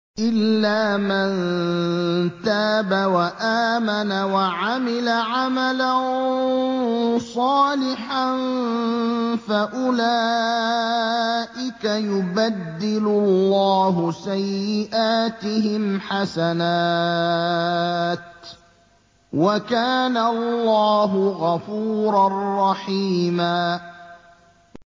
إِلَّا مَن تَابَ وَآمَنَ وَعَمِلَ عَمَلًا صَالِحًا فَأُولَٰئِكَ يُبَدِّلُ اللَّهُ سَيِّئَاتِهِمْ حَسَنَاتٍ ۗ وَكَانَ اللَّهُ غَفُورًا رَّحِيمًا